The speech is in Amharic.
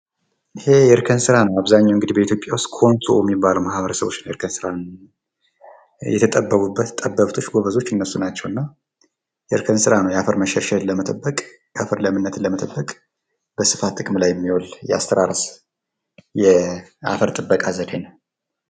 ይህ የእርክ ስራ ነው አብዛኛው በኢትዮጵያ ውስጥ ኮንሶ የሚባለው ማህበረሰብ እርክ ስራን የተጠበቡበት ጠበብቶች ጎበዞች እነሱ ናቸውና እርክ ስራ የአፈር መሸርሸርን ለመጠበቅ የአፈር ለምነትን ለመጠበቅ በስፋት ጥቅም ላይ የሚውል የአፈር ጥበቃ ዘድ ነው።